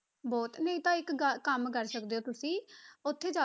ਬਹੁਤ ਨਹੀਂ ਤਾਂ ਇੱਕ ਗ~ ਕੰਮ ਕਰ ਸਕਦੇ ਹੋ ਤੁਸੀਂ, ਉੱਥੇ ਜਾ